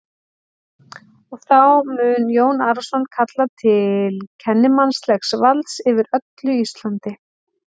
Og þá mun Jón Arason kalla til kennimannlegs valds yfir öllu Íslandi!